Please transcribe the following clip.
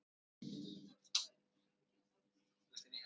Á miðvikudagskvöld hringir Doddi.